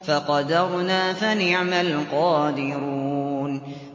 فَقَدَرْنَا فَنِعْمَ الْقَادِرُونَ